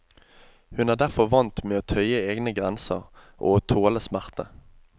Hun er derfor vant med å tøye egne grenser og å tåle smerte.